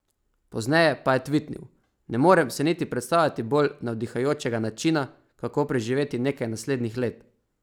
Pozneje pa je tvitnil: "Ne morem si niti predstavljati bolj navdihujočega načina, kako preživeti nekaj naslednjih let.